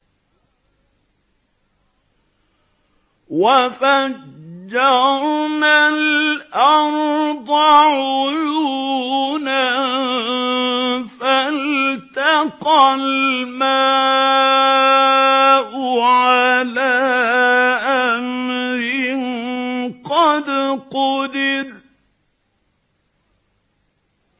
وَفَجَّرْنَا الْأَرْضَ عُيُونًا فَالْتَقَى الْمَاءُ عَلَىٰ أَمْرٍ قَدْ قُدِرَ